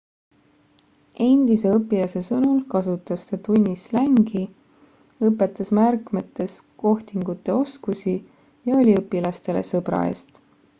endise õpilase sõnul kasutas ta tunnis slängi õpetas märkmetes kohtingute oskusi ja oli õpilastele sõbra eest